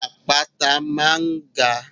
Àpáta máa ń ga.